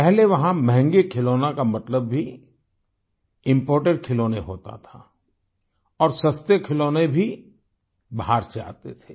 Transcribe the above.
पहले वहां महंगे खिलौनों का मतलब भी इम्पोर्टेड खिलौने होता था और सस्ते खिलौने भी बाहर से आते थे